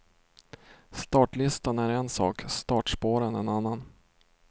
Startlistan är en sak, startspåren en annan.